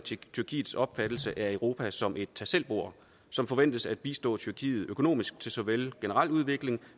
tyrkiets opfattelse af europa som et tag selv bord som forventes at bistå tyrkiet økonomisk til såvel generel udvikling